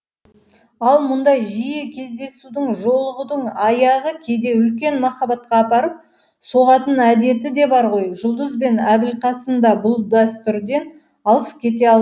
ал мұндай жиі кездесудің жолығудың аяғы кейде үлкен махаббатқа апарып соғатын әдеті де бар ғой жұлдыз бен әбілқасым да бұл дәстүрден алыс кете алмады